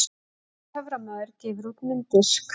Lalli töframaður gefur út mynddisk